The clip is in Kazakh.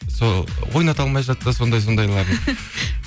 сол ойната алмай жатса сондай сондайларын